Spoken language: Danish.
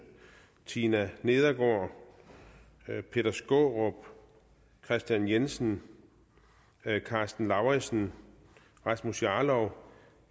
tina nedergaard peter skaarup kristian jensen karsten lauritzen rasmus jarlov